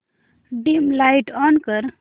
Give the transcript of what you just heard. dim light on कर